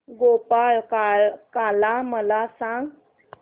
गोपाळकाला मला सांग